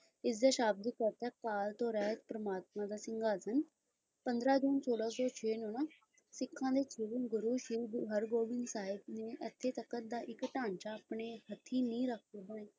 ਤੋਂ ਰਹਿਤ ਪਰਮਾਤਮਾ ਦਾ ਸਿੰਘਾਸਨ ਪੰਦਰਾ ਦਿਨ ਸੋਲਾਂ ਸੌ ਛੇ ਵਿਚ ਨਾ ਸਿੱਖਾਂ ਦੇ ਘਰਾਂ ਵਿਚ ਛੇਵੇਂ ਗੁਰੂ ਸ਼੍ਰੀ ਗੁਰੂ ਹਰਿਗੋਬਿੰਦ ਸਾਹਿਬ ਨੇ ਤਖਤ ਦਾ ਇਕ ਢਾਂਚਾ ਆਪਣੇ ਹੱਥੀਂ ਨੀਂਹ ਰੱਖੀ ਹੈ